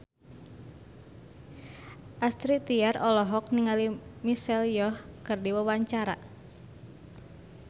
Astrid Tiar olohok ningali Michelle Yeoh keur diwawancara